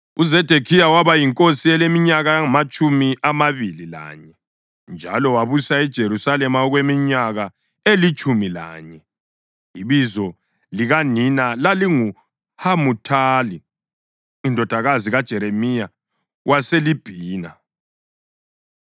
UZedekhiya waba yinkosi eleminyaka engamatshumi amabili lanye, njalo wabusa eJerusalema okweminyaka elitshumi lanye. Ibizo likanina lalinguHamuthali indodakazi kaJeremiya waseLibhina.